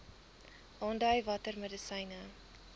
aandui watter medisyne